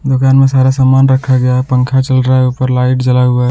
दुकान में सारा सामान रखा गया है पंखा चल रहा है ऊपर लाइट जला हुआ है।